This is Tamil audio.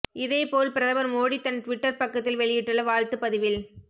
இதைப்போல் பிரதமர் மோடி தன் டிவிட்டர் பக்கத்தில் வெளியிட்டுள்ள வாழ்த்து பதிவில்